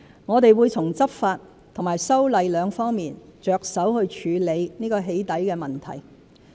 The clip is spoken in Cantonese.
我們會從執法及修例兩方面着手去處理"起底"問題。